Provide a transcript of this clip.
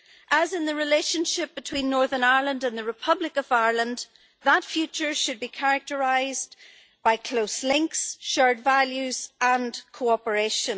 As in the relationship between Northern Ireland and the Republic of Ireland, that future should be characterised by close links, shared values and cooperation.